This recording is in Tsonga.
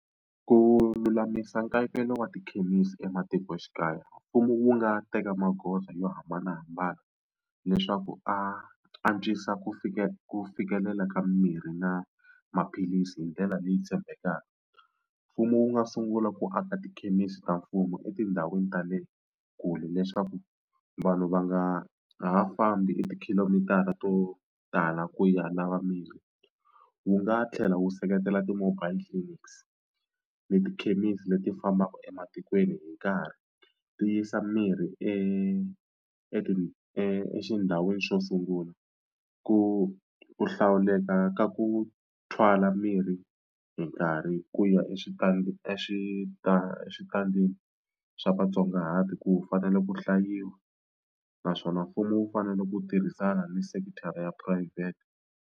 Ku lulamisa nkayivelo wa tikhemisi ematikoxikaya mfumo wu nga teka magoza yo hambanahambana leswaku a antswisa ku ku fikelela ka mirhi na maphilisi hi ndlela leyi tshembekaka. Mfumo wu nga sungula ku aka tikhemisi ta mfumo etindhawini ta le kule leswaku vanhu va nga ha fambi e tikhilomitara to tala ku ya lava mirhi. Wu nga tlhela wu seketela ti-mobile clinics ni tikhemisi leti fambaka ematikweni hi nkarhi tiyisa miri e exindhawini xo sungula ku hlawuleka ka ku thwala mirhi hi nkarhi ku ya exitandini xa vatsongahati ku fanele ku hlayiwa naswona mfumo wu fanele ku tirhisana ni sekithara ya phurayivhete.